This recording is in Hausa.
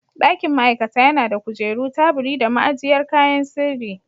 Dakin ma'aikata yana da kujeru, teburi da ma'ajiyar kayan sirri.